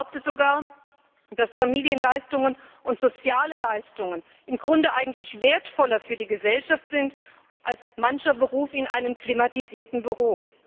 Ich behaupte sogar, dass Familienleistungen und soziale Leistungen im Grunde eigentlich wertvoller für die Gesellschaft sind als mancher Beruf in einem klimatisierten Büro.